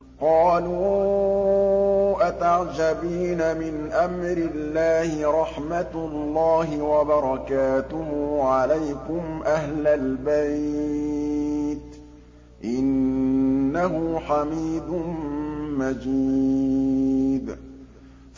قَالُوا أَتَعْجَبِينَ مِنْ أَمْرِ اللَّهِ ۖ رَحْمَتُ اللَّهِ وَبَرَكَاتُهُ عَلَيْكُمْ أَهْلَ الْبَيْتِ ۚ إِنَّهُ حَمِيدٌ مَّجِيدٌ